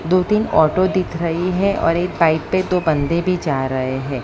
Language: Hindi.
दो तीन ऑटो दिख रही है और एक बाइक पे दो बंदे भी जा रहे हैं।